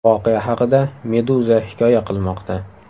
Voqea haqida Meduza hikoya qilmoqda .